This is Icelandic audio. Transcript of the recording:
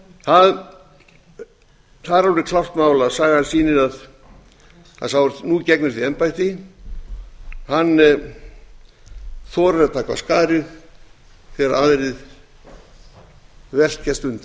alveg klárt mál að sagan sýnir að sá er nú gegnir því embætti þorir að taka af skarið þegar aðrir velkjast